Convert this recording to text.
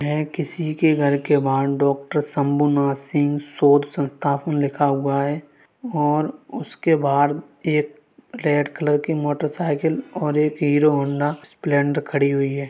यह किसी के घर के बाहरडॉक्टर शम्भुनाथ सिंह शोध संस्थान लिखा हुआ है | और उसके बाहर एक रेड कलर की मोटरसाइकल और एक हीरो हौंडा स्प्लेडर खड़ी हुई है।